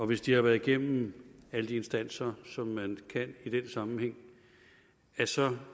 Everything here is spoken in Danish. hvis de har været igennem alle de instanser som man kan i den sammenhæng så